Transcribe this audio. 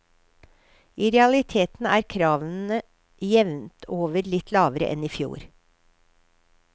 I realiteten er kravene jevnt over litt lavere enn i fjor.